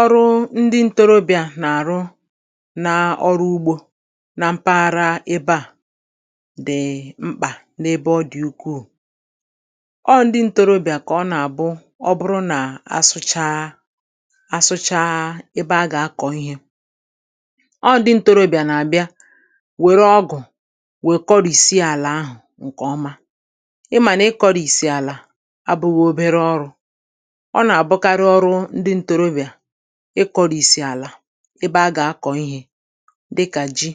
ọrụ ndị ntorobịa nà-àrụ naa ọrụ ugbō na mpaghara ebe à dị mkpà n’ebe ọ dị ukwuù ọọ ndị ntorobịà kà ọ nà-àbụ ọ bụrụ nà a sụchaa a sụchaa ebe a gà-akọ̀ ihē ọọ̄ ndị ntorobịà nà-àbịa wère ọgụ̀ wèe kọrị̀sie àlà ahụ̀ ṅ̀kè ọma ị̣ mà nà ịkọ̄risì àlà abụ̄ghị̄ obere ọrụ̄ ọ nà-àbụkarị ọrụ ndị ntorobịà ịkọ̄rìsì àlà ebe a gà-akọ̀ ihē dịkà ji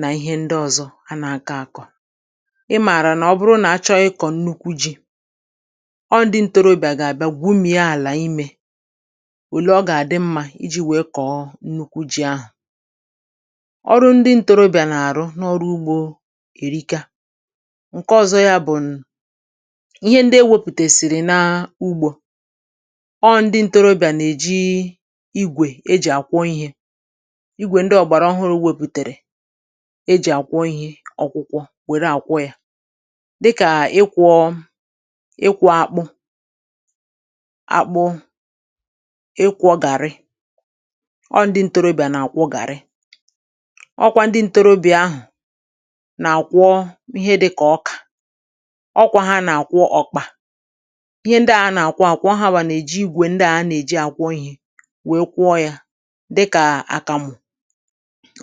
nà ihe ndị ọ̄zọ̄ a nà-akọ̄ àkọ̀ ị mààrà nà ọ bụrụ nà a chọọ ịkọ̀ nnukwu jī ọọ̄ ndị ntorobịà gà-àbịa gwumìe àlà imē òle ọ gà-àdị mmā ijī wèe kọ̀ọ nnukwu jī ahụ̀ ọrụ ndị ntorobịa nà-àr̀ụ n’ọru̩ ugbō èrika ṅ̀ke ọ̄zọ yā bụ̀n ihe ndị e wepùtèsìrì naa ugbō ọọ̄ ndị ntorobịà nà-èji igwè e jì àkwọ ihē igwè ndị ọ̀gbàrà ọhụrụ̄ wepùtèrè e jì àkwọ ihē ọkwụkwọ wère àkwọ yā dịkà ịkwọ̄ ịkwọ̄ akpụ akpụ ịkwọ̄ gàrị ọọ̄ ndị ntorobịà nà-àkwọ gàrị ọ kwā ndị ntorobịà ahụ̀ nà-àkwọ ihe dịkà ọkà ọ kwā hā nà àkwọ ọ̀kpà ihe ndi à a nà-àkwọ ākwọ̄ ọō ha nwà nà-èji igwè ndị à a nà-èji àkwọ ihē wèe kwọọ yā dịkà àkàmụ̀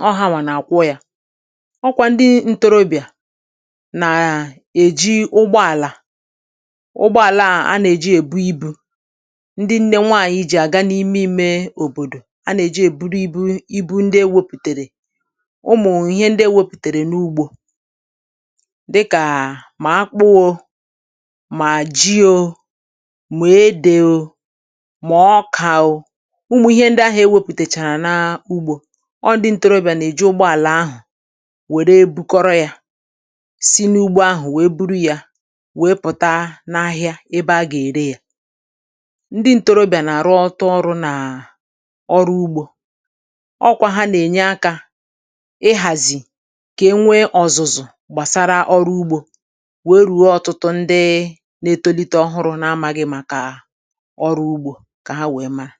ọọ̄ ha nwà nà-àkwọ yā ọ kwā ndi ntorobịià nàà èji ụgbọ àlà ụgbọ àla à a nà-èji èbu ibū ndi nne nwaạnyị̀ jì àga n’ime īmē òbòdo ̀ a nà-èji èburu ibū ibu ndị e wepùtèrè ụmụ ihe ndị e wepùtèrè n‘ugbō dịkàà mà akpụ ō mà ji ō mà edè ò mà ọkà ò ụmụ̀ ihe ndi ahụ̀ e wēpùtèchàrà naa ugbō ọọ̄ ndị ntorobị̀à nà-èji ụgbọàlà ahà wère bukọrọ yā si n’ugbo ahụ̀ wèe buru yā wèe pụ̀ta n’ahịa ebe a gà-ère yā ndị ntorobị̀à nà-arụ ọtụ ọrụ̄ nàà ọrụ ugbō ọ kwā hā nà- ènye akā ihàzì kà e nwee ọ̀zụ̀zụ̀ gbàsara ọrụ ugbō wèe ruo ọtụtụ ndịị na-etolite ọhụrụ̄ na-amāghị̄ màkà ọrụ ugbō kà ha wèe mara